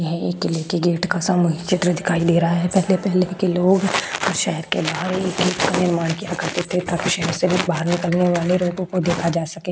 है एक किले के गेट का सामूहिक चित्र दिखाई दे रहा है। पहले-पहले के लोग और शहर के बाहर का निर्माण किया करते थे ताकि शहर से बाहर निकलने वाले रोगों को देखा जा सके।